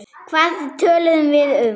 Hvað töluðum við um?